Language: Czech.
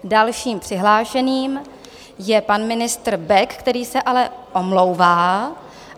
Dalším přihlášeným je pan ministr Bek, který se ale omlouvá.